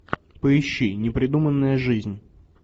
поищи непридуманная жизнь